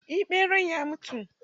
Eh ɓeran ya mutu.